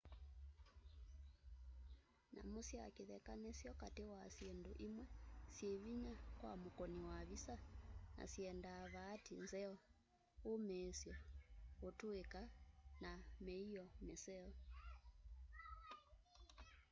nyamu sya kitheka nisyo kati wa syindu imwe syivinya kwa mukuni wa visa na syendaa vaati nzeo umiisyo utuika na miio miseo